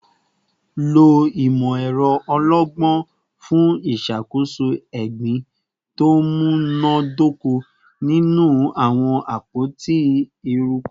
Lo imọ-ẹrọ ọlọgbọn fun iṣakoso egbin to munadoko ninu awọn apoti eruku